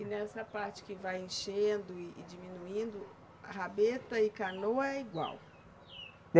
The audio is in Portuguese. E nessa parte que vai enchendo e e diminuindo, rabeta e canoa é igual?